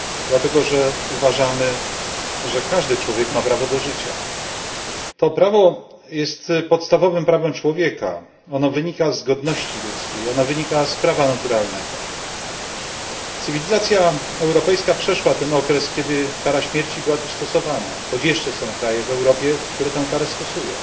Dlatego, że uważamy, że każdy człowiek ma prawo do życia. To prawo jest podstawowym prawem człowieka. Ono wynika z godności ludzkiej, ono wynika z prawa naturalnego. Cywilizacja europejska przeszła ten okres, kiedy kara śmierci była tu stosowana, choć jeszcze są kraje w Europie, które tam karę stosują.